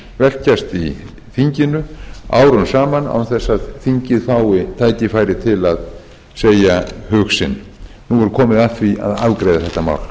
í þinginu árum saman án þess að þingið fái tækifæri til að segja hug sinn nú er komið að því að afgreiða þetta mál